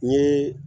N ye